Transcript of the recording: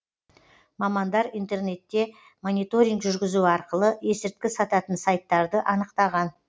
мамандар интернетте мониторинг жүргізу арқылы есірткі сататын сайттарды анықтаған